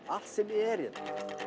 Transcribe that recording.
allt sem er hérna